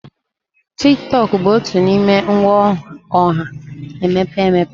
Tiktok bụ otu n'ime ngwa ọha na-emepe emepe.